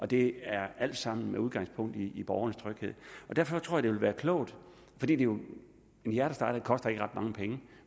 det er alt sammen med udgangspunkt i borgernes tryghed derfor tror jeg det ville være klogt en hjertestarter koster ikke ret mange penge